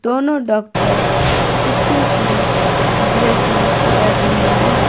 दोनों डॉक्टर कुत्ते की ड्रेसिंग कर रहे हैं।